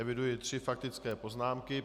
Eviduji tři faktické poznámky.